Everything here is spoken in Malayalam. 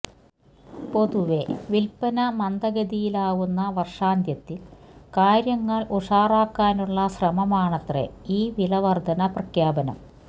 പൊതുവേ വിൽപ്പന മന്ദഗതിയിലാവുന്ന വർഷാന്ത്യത്തിൽ കാര്യങ്ങൾ ഉഷാറാക്കാനുള്ള ശ്രമമാണത്രെ ഈ വില വർധന പ്രഖ്യാപനം